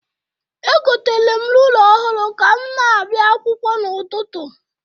Egotere m rula ọhụru ka m na-abia akwụkwọ n'ụtụtụ.